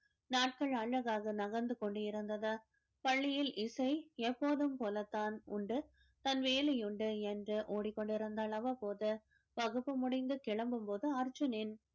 நாட்கள் அழகாக நகர்ந்து கொண்டிருந்தது பள்ளியில் இசை எப்போதும் போலத்தான் உண்டு தன் வேலை உண்டு என்று ஓடிக்கொண்டிருந்தாள் அவ்வப்போது வகுப்பு முடிந்து கிளம்பும் போது அர்ஜுனின்